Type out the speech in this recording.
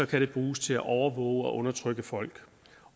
kan det bruges til at overvåge og undertrykke folk